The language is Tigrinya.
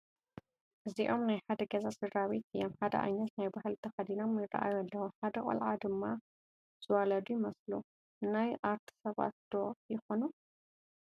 እዚኦም ናይ ሓደ ገዛ ስድራ ቤት እዮም፡፡ ሓደ ዓይነት ናይ ባህሊ ተኸዲኖም ይራኣዩ ኣለው፡፡ ሓደ ቆልዓ ድማ ዝወለዱ ይመስሉ፡፡ ናይ ኣርት ሰባት ዶ ይኾኑ?